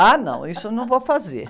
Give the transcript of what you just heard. Ah, não, isso eu não vou fazer.